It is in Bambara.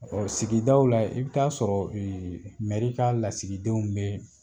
Ɔ sigidaw la, i bɛ t'a sɔrɔ mɛri ka lasigidenw bɛ yen.